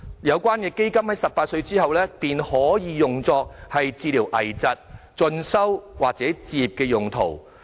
有關的基金在18歲後可用作治療危疾、進修及置業用途。